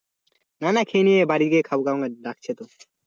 না না খেয়ে নিই বাড়ি গিয়ে খাবো, ডাকছে তো